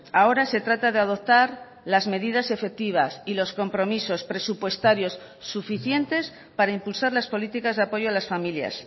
ahora se trata de adoptar las medidas efectivas y los compromisos presupuestarios suficientes para impulsar las políticas de apoyo a las familias